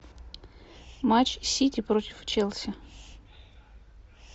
матч сити против челси